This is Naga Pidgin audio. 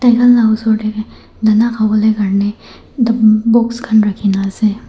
tai khan laga osor tae dana khavo lae box khan rakhina ase.